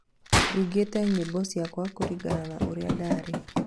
ndungĩte nyĩmbo cĩakwa kuringana na ũria ndarĩ